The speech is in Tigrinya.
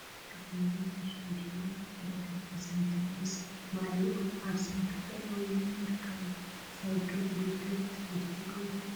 ስፖርት ዝተፈላሉ ዓይነት ስፖርት አለው፡፡ ካብአቶም ብርክት ዝበሉ ናይ ሻምፒዮና ተወዳደርቲ ሳይክል ምስ ማልይኦም አብ ሳይክል ጠጠወ ኢሎም ይርከቡ፡፡ ሳይክል ውድድር ትፈትው ዶ?